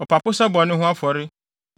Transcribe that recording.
ɔpapo sɛ bɔne ho afɔre;